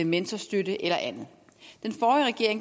mentorstøtte eller andet